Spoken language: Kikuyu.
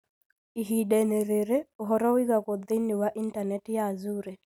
Ihinda-inĩ rĩrĩ, ũhoro ũigagwo thĩinĩ wa intaneti ya Azure.